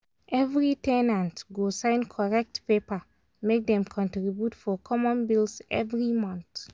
every ten ant go sign correct paper make dem contribute for common bills every month.